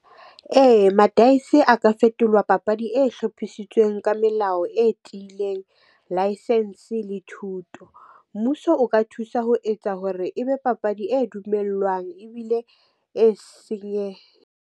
Ee, madaese a ka fetolwa papadi e hlophisitsweng ka melao e tiileng, license le thuto. Mmuso o ka thusa ho etsa hore ebe papadi e dumellwang ebile e senye.